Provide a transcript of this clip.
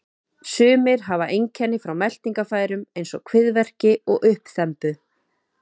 Sumir hafa einkenni frá meltingarfærum eins og kviðverki og uppþembu.